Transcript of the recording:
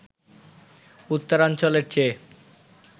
উত্তরাঞ্চলের চেয়ে